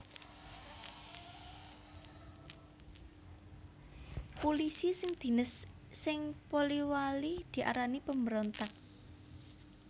Pulisi sing dines sing Polewali diarani pemberontak